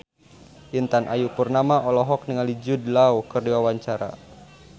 Intan Ayu Purnama olohok ningali Jude Law keur diwawancara